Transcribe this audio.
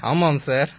ஆமாம் சார்